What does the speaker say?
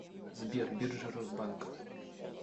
сбер биржа росбанк